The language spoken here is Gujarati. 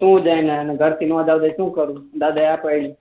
પડે ઘર થી નાં પાડે તો હું કરું દાદા એ હા પાડી